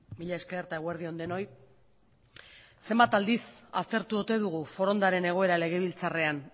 mila esker eta eguerdi on denoi zenbat aldiz aztertu ote dugu forondaren egoera legebiltzarrean